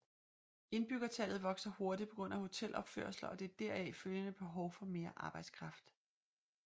Indbyggertallet vokser hurtigt på grund af hotelopførelser og det deraf følgende behov for mere arbejdskraft